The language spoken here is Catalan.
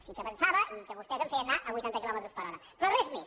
sí que pensava que vostès em feien anar a vuitanta quilòmetres per hora però res més